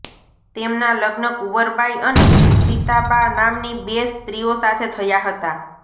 તેમના લગ્ન કુંવરબાઈ અને સીતાબા નામની બે સ્ત્રીઓ સાથે થયા હતા